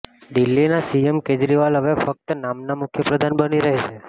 દિલ્હીનાં CM Kejriwal હવે ફક્ત નામનાં મુખ્યપ્રધાન બની રહેશે